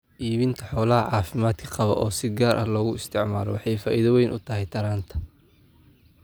Iibinta xoolaha caafimaadka qaba oo si gaar ah loogu isticmaalo waxay faa'iido weyn u tahay taranta.